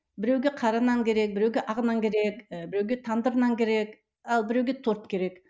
біреуге қара нан керек біреуге ақ нан керек ііі біреуге тандыр нан керек ал біреуге торт керек